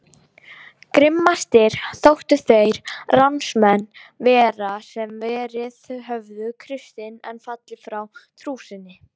Grimmastir þóttu þeir ránsmenn vera sem verið höfðu kristnir en fallið frá trú sinni.